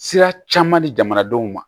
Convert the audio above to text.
Sira caman di jamanadenw ma